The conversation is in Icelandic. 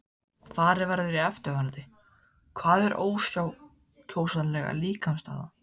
Farið verður í eftirfarandi: Hvað er ákjósanleg líkamsstaða?